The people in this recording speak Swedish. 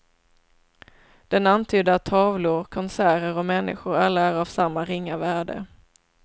Den antydde att tavlor, konserter och människor alla är av samma ringa värde.